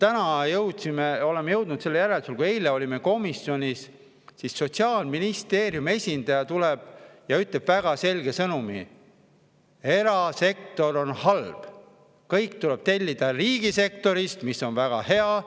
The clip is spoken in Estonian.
Täna jõudsime sellisele järeldusele: kui me eile olime komisjonis, siis tuli Sotsiaalministeeriumi esindaja ja ütles väga selge sõnumi: erasektor on halb, kõik tuleb tellida riigisektorist, mis on väga hea.